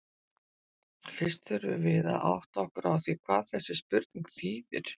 Fyrst þurfum við að átta okkur á því hvað þessi spurning þýðir.